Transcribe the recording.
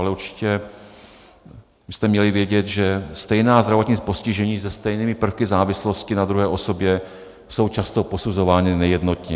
Ale určitě byste měli vědět, že stejná zdravotní postižení se stejnými prvky závislosti na druhé osobě jsou často posuzována nejednotně.